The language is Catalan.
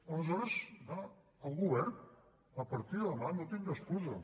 aleshores clar el govern a partir de demà no tindrà excusa